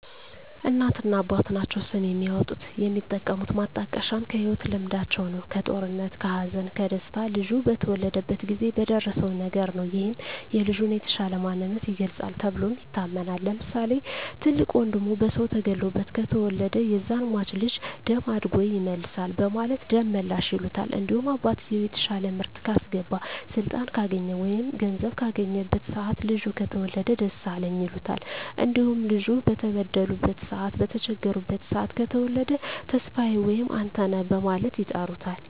እናትና አባት ናቸዉ ስም የሚያወጡት። የሚጠቀሙት ማጣቀሻም ከህይወት ልምዳቸዉ ነዉ(ከጦርነት ከሀዘን ከደስታ ልጁ በተወለደበት ጊዜ በደረሰዉ ነገር) ነዉ ይህም የልጁን የተሻለ ማንነት ይገልፃል ተብሎም ይታመናል። ለምሳሌ፦ ትልቅ ወንድሙ በሰዉ ተገሎበት ከተወለደ ያዛን ሟች ልጅ ደም አድጎ ይመልሳል በማለት ደመላሽ ይሉታል። እንዲሁም አባትየዉ የተሻለ ምርት ካስገባ ስልጣን ካገኘ ወይም ገንዘብ ካገኘበት ሰአት ልጁ ከተወለደ ደሳለኝ ይሉታል። እንዲሁም ልጁ በተበደሉበት ሰአት በተቸገሩበት ሰአት ከተወለደ ተስፋየ ወይም አንተነህ በማለት ይጠሩታል።